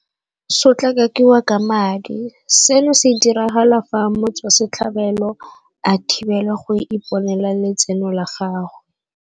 Sotlakakiwa ka madi - Seno se diragala fa motswasetlhabelo a thibelwa go iponela letseno la gagwe.